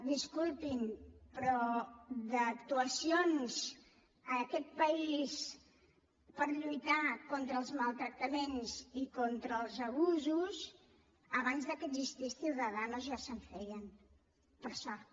disculpin però d’actuacions en aquest país per lluitar contra els maltractaments i contra els abusos abans que existís ciudadanos ja se’n feien per sort